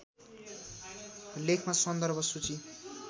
लेखमा सन्दर्भ सूची